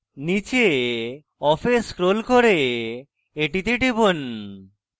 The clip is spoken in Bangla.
নীচে off এ scroll করে এটিতে টিপুন